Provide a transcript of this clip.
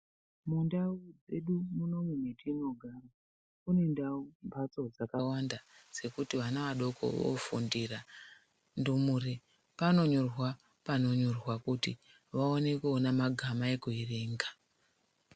Mundau dzedu muno umu matinogara, mune mhatso dzakawanda dzekuti ana adoko vandofundira, panonyorwa pachidziro kuti vakone kuona magama ekuerenga.